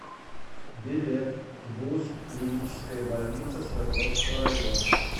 билет гбуз клиническая больница свердловского района